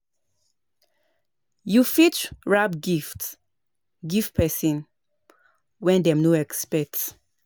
Do di thing wey you know sey your power carry and you get di skill